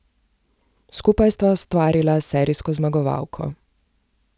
Skupaj sta ustvarila serijsko zmagovalko.